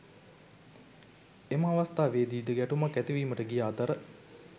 එම අවස්ථාවේදී ද ගැටුමක් ඇතිවීමට ගිය අතර